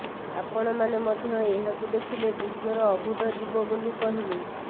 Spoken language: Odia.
ଆପଣମାନେ ମଧ୍ୟ ଏହାକୁ ଦେଖିଲେ ବିଶ୍ୱର ଅଭୁତ ଜୀବ ବୋଲି କହିବେ